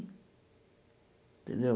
Tendeu?